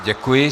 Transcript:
Děkuji.